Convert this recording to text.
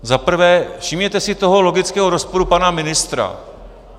Za prvé, všimněte si toho logického rozporu pana ministra.